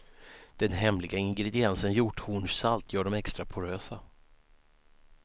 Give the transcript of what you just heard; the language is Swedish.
Den hemliga ingrediensen hjorthornssalt gör dem extra porösa.